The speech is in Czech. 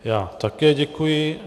Já také děkuji.